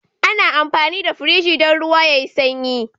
Ana amfani da Firji dan ruwa yayi sanyi